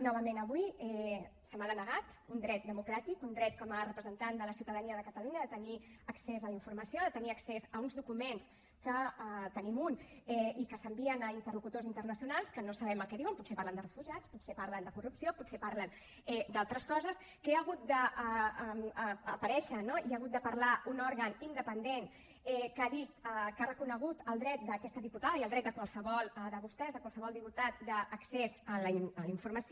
novament avui se m’ha denegat un dret democràtic un dret com a representant de la ciutadania de catalunya de tenir accés a la informació de tenir accés a uns documents que en tenim un i que s’envien a interlocutors internacionals que no sabem el que diuen potser parlen de refugiats potser parlen de corrupció potser parlen d’altres coses que ha hagut d’aparèixer no i ha hagut de parlar un òrgan independent que ha dit que ha reconegut el dret d’aquesta diputada i el dret de qualsevol de vostès de qualsevol diputat d’accés a la informació